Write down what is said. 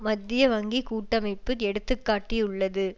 மத்திய வங்கி கூட்டமைப்பு எடுத்து காட்டியுள்ளது